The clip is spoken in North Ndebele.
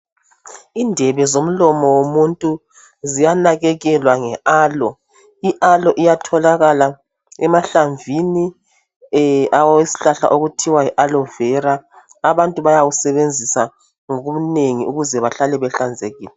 Indebe zomlomo womuntu ziyanakekelwa nge alo. I alo iyatholakala emahlamvini esihlahla esithiwa yi alovera. Abantu bayawusebenzisa ngobunengi ukuze bahlale behlanzekile.